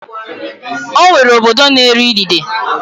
Ọ nwere obodo na-eri idide.